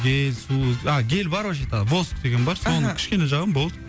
гель су а гель бар вообще то воск деген бар соны ыхы кішкене жағамын болды